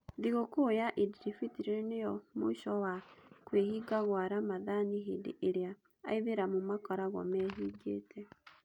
Thigũkũya Idiribitiri nĩo mũico wa kwĩhinga gwa ramathani hĩndĩ ĩrĩa aithĩramu makoragwo mehingĩte.